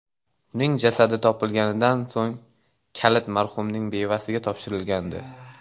Uning jasadi topilganidan so‘ng kalit marhumning bevasiga topshirilgandi.